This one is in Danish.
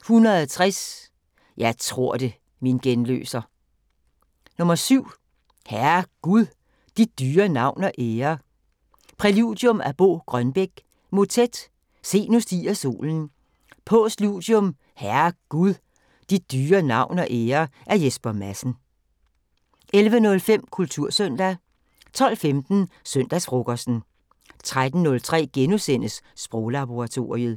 160: "Jeg tror det, min genløser". 7: "Herre Gud! Dit dyre navn og ære". Præludium af Bo Grønbech. Motet: "Se, nu stiger solen". Postludium: "Herre Gud! Dit dyre navn og ære" af Jesper Madsen. 11:05: Kultursøndag 12:15: Søndagsfrokosten 13:03: Sproglaboratoriet *